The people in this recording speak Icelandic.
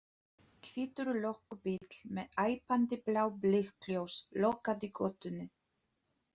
Hvítur löggubíll með æpandi blá blikkljós lokaði götunni.